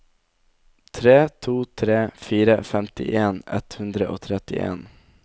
tre to tre fire femtien ett hundre og trettien